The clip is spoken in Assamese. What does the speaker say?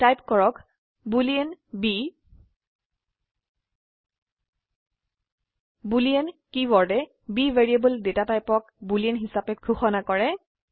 টাইপ কৰক বুলিন b বুলিন কীওয়াৰ্ডে b ভ্যাৰিয়েবল ডেটা টাইপক বুলিন হিসাবে ঘোষণা কৰে